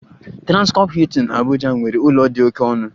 Transcorp Hilton Abuja nwere ụlọ dị oke ọnụ